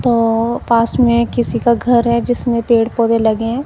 तो पास में किसी का घर है जिसमें पेड़ पौधे लगे हैं।